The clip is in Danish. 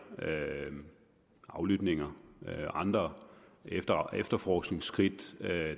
aflytninger og andre efterforskningsskridt